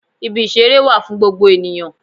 Ibi ìṣeré wà fún gbogbo ènìyàn